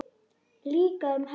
Líka um helgar.